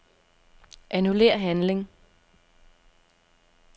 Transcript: Annullér handling.